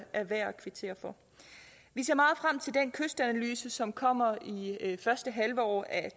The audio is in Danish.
er værd at kvittere for vi ser meget frem til den kystanalyse som kommer i første halvår af